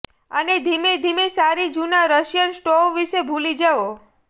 અને ધીમે ધીમે સારી જૂના રશિયન સ્ટોવ વિશે ભૂલી જાઓ